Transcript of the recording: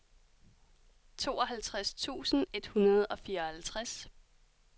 tooghalvtreds tusind et hundrede og fireoghalvtreds